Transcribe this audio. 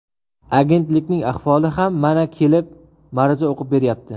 Agentlikning ahvoli ham mana kelib, ma’ruza o‘qib beryapti.